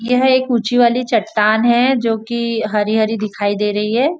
यह एक ऊंची वाली चटान है जोकि हरी हरी दिखाई दे रही है।